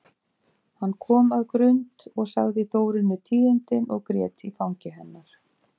Hann kom að Grund og sagði Þórunni tíðindin og grét í fangi hennar.